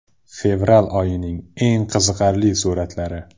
Fevral oyining eng qiziqarli suratlari.